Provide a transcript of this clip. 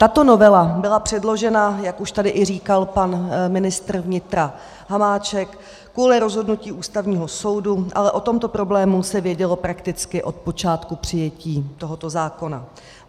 Tato novela byla předložena, jak už tady říkal i pan ministr vnitra Hamáček, kvůli rozhodnutí Ústavního soudu, ale o tomto problému se vědělo prakticky od počátku přijetí tohoto zákona.